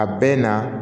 A bɛɛ na